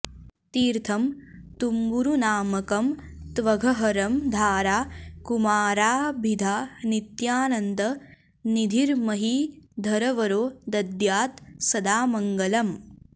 तीर्थं तुम्बुरुनामकं त्वघहरं धारा कुमाराभिधा नित्यानन्दनिधिर्महीधरवरो दद्यात् सदा मङ्गलम्